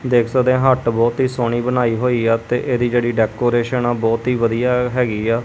ਦੇਖ ਸਕਦੇ ਆ ਹੱਟ ਬਹੁਤ ਹੀ ਸੋਹਣੀ ਬਣਾਈ ਹੋਈ ਆ ਤੇ ਇਹਦੀ ਜਿਹੜੀ ਡੈਕੋਰੇਸ਼ਨ ਆ ਬਹੁਤ ਹੀ ਵਧੀਆ ਹੈਗੀ ਆ।